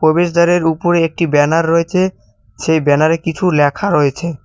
প্রবেশদ্বারের উপরে একটি ব্যানার রয়েছে সেই ব্যানারে কিছু লেখা রয়েছে।